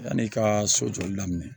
Yan'i ka so jɔli daminɛ